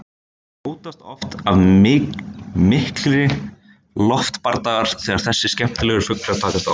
hljótast oft af miklir loftbardagar þegar þessir skemmtilegu fuglar takast á